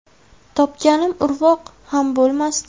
Topganim urvoq ham bo‘lmasdi.